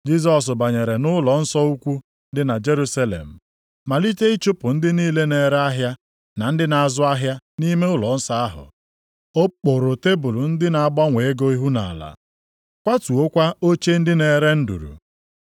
Jisọs banyere nʼụlọnsọ ukwu dị na Jerusalem, malite ịchụpụ ndị niile na-ere ahịa na ndị na-azụ ahịa nʼime ụlọnsọ ahụ. O kpuru tebul ndị na-agbanwe ego ihu nʼala, kwatuokwa oche ndị na-ere nduru.